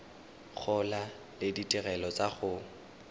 gola le ditirelo tsa go